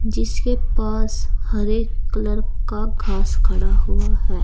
जिसके पास हरे कलर का घास खड़ा हुआ है।